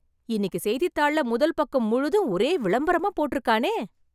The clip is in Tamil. இன்னிக்கு செய்தித்தாள்ள முதல் பக்கம் முழுதும் ஒரே விளம்பரமா போட்ருக்கானே..